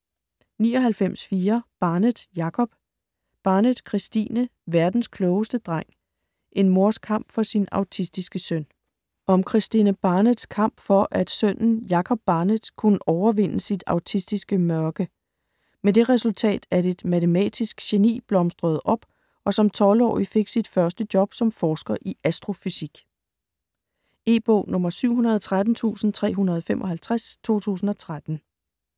99.4 Barnett, Jacob Barnett, Kristine: Verdens klogeste dreng: en mors kamp for sin autistiske søn Om Kristine Barnetts kamp for at sønnen, Jacob Barnett, kunne overvinde sit autistiske mørke. Med det resultat at et matematisk geni blomstrede op og som 12-årig fik sit første job som forsker i astrofysik. E-bog 713355 2013.